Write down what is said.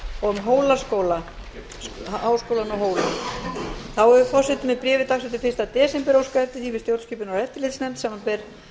og háskólann á hólum þá hefur forseti með bréfi dagsettu fyrsta desember óskað eftir því við stjórnskipunar og eftirlitsnefnd samanber